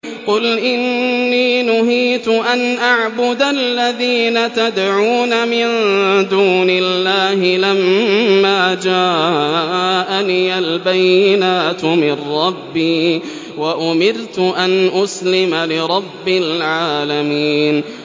۞ قُلْ إِنِّي نُهِيتُ أَنْ أَعْبُدَ الَّذِينَ تَدْعُونَ مِن دُونِ اللَّهِ لَمَّا جَاءَنِيَ الْبَيِّنَاتُ مِن رَّبِّي وَأُمِرْتُ أَنْ أُسْلِمَ لِرَبِّ الْعَالَمِينَ